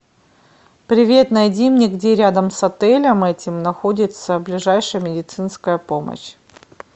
привет найди мне где рядом с отелем этим находится ближайшая медицинская помощь